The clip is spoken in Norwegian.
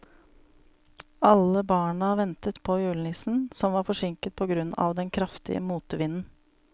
Alle barna ventet på julenissen, som var forsinket på grunn av den kraftige motvinden.